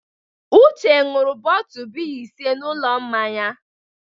Uche ṅụrụ bọtu biya ise n'ụlọ mmanya.